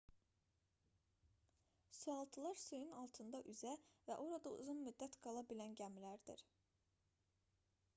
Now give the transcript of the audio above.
sualtılar suyun altında üzə və orada uzun müddət qala bilən gəmilərdir